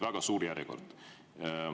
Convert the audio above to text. Väga suur järjekord.